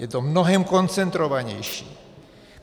Je to mnohem koncentrovanější.